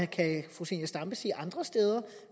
kan fru zenia stampe sige andre steder